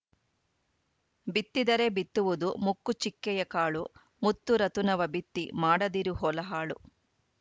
ಬಿತ್ತಿದರೆ ಬಿತ್ತುವುದು ಮುಕ್ಕು ಚಿಕ್ಕೆಯ ಕಾಳು ಮುತ್ತುರತುನವ ಬಿತ್ತಿ ಮಾಡದಿರು ಹೊಲ ಹಾಳು